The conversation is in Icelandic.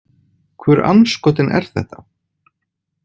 Hvur andskotinn er þetta?